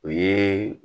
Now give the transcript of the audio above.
O ye